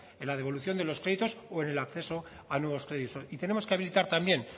en la devolución de los créditos o en el acceso a nuevos créditos y tenemos que habilitar también